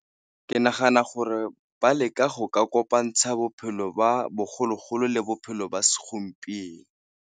Ke nagana gore ba leka go ka kopantsha bophelo ba bogologolo le bophelo ba segompieno.